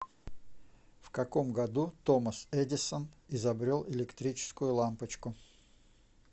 в каком году томас эдисон изобрел электрическую лампочку